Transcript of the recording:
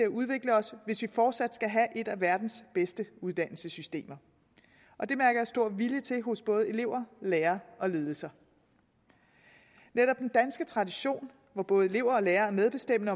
udvikle os hvis vi fortsat skal have et af verdens bedste uddannelsessystemer og det mærker jeg stor vilje til hos både elever lærere og ledelser netop den danske tradition hvor både elever og lærere er medbestemmende